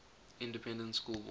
independent school board